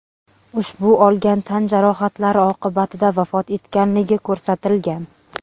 ushbu olgan tan jarohatlari oqibatida vafot etganligi ko‘rsatilgan.